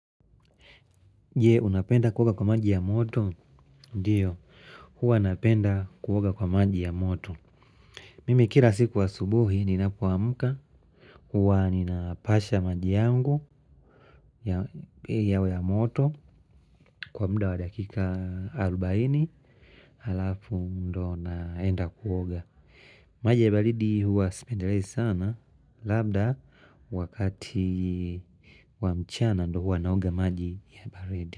Je unapenda kuoga kwa maji ya moto ndio huwa napenda kuoga kwa maji ya moto. Mimi kila siku asubuhi ninapoamka huwa ninapasha maji yangu yawe ya moto kwa muda wa dakika arobaini halafu ndo naenda kuoga. Maji ya baridi huwa sipendelei sana labda wakati wa mchana ndo huwa naoga maji ya baridi.